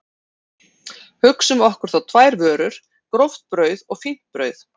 Hugsum okkur þá tvær vörur, gróft brauð og fínt brauð.